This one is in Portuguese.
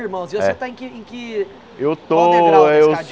Irmãos é e você tá em que em que Eu estou... Qual o degrau da